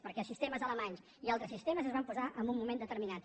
perquè sistemes alemanys i altres sistemes es van posar en un moment determinat